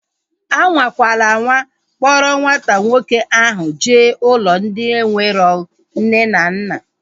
Anwakwana anwa kpọrọ nwata nwoke ahu jee ụlọ ndị enwero nne na nna!